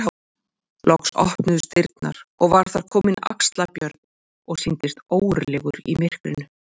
Loks opnuðust dyrnar og var þar kominn Axlar-Björn og sýndist ógurlegur í myrkrinu.